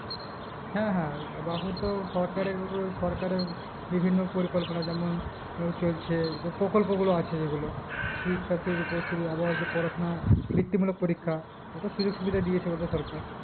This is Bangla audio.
হ্যাঁ হ্যাঁ তো সরকারের ও সরকারের পরিকল্পনা যেমন চলছে যে প্রকল্প গুলো আছে যেগুলো শিক্ষাশ্রী রূপশ্রী আবার যে পড়াশোনা বৃত্তি মূলক পরীক্ষা কত সুযোক সুবিধা দিয়েছে বলতো সরকার